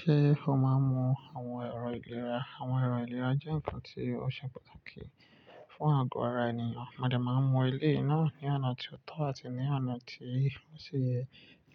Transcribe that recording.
Ṣé o máa ń mu àwọn ẹ̀rọ ìlera? Àwọn ẹ̀rọ ìlera jẹ́ nǹkan tí ó ṣe pàtàkì fún àgọ́ ara ènìyàn. Mọ dé máa ń mu eléyìí náà ní ọ̀nà tí ó tọ́ àti ní ọ̀nà tí ó ṣi yẹ.